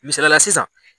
Misalila sisan